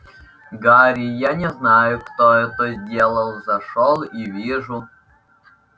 гарри я не знаю кто это сделал зашёл и вижу